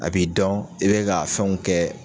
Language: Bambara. A b'i dɔn i be ka fɛnw kɛ